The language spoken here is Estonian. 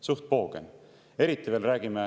Suht poogen!